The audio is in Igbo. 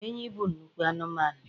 enyí bụ nnukwu anụmanụ